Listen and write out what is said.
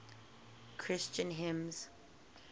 christian hymns